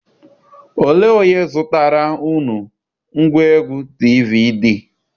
Olee onye zụtara unu ngwaegwu DVD?